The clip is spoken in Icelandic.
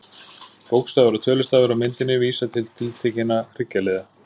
Bókstafir og tölustafir á myndinni vísa til tiltekinna hryggjarliða.